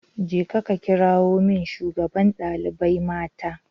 Je ka kirawo min shugaban dalibai mata